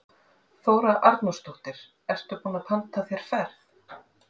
Þóra Arnórsdóttir: Ertu búinn að panta þér ferð?